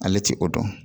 Ale ti o dɔn